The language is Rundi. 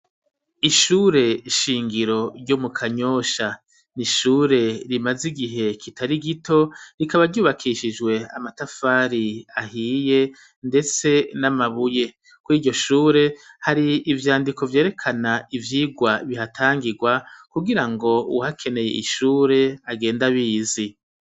Ishure shingiro ryo mu kanyosha, n'ishure rimaze igihe kitari gito rikaba ryubakishijwe amatafari ahiye ndetse n'amabuye kwiryo shure hari ivyandiko byerekana ivyirwa bihatangirwa ku girango uhakeneye ishure agende abizi.